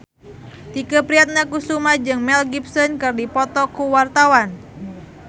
Tike Priatnakusuma jeung Mel Gibson keur dipoto ku wartawan